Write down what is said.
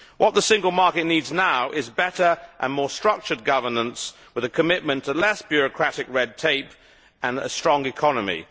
What the Single Market needs now is better and more structured governance with a commitment to less bureaucratic red tape and a strong economy.